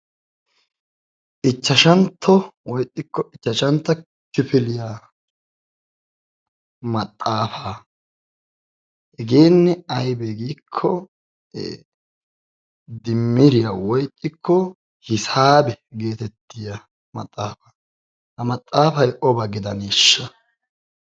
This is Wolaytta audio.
Ichashshantto woy ixxikki ichashshantta kifiliyaa maxaaafa, hegekka aybbe giiko dimiriya woy ixxikko hisaabe geteetiyaa maxaaf. ha maxaafay oba getetaanesha!